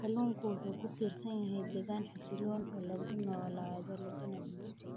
Kalluunku wuxuu ku tiirsan yahay deegaan xasiloon oo lagu noolaado laguna dhinto.